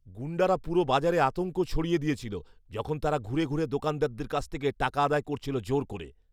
গুণ্ডারা পুরো বাজারে আতঙ্ক ছড়িয়ে দিয়েছিল যখন তারা ঘুরে ঘুরে দোকানদারদের কাছ থেকে টাকা আদায় করছিল জোর করে!